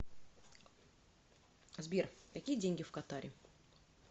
сбер какие деньги в катаре